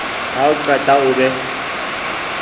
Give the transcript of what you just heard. ha o qeta o be